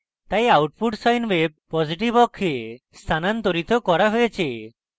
তাই output sine wave positive অক্ষে স্থানান্তরিত করা হয়েছে